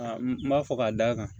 Aa n b'a fɔ ka d'a kan